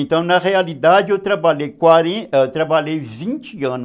Então, na realidade, eu trabalhei quaren, eu trabalhei vinte anos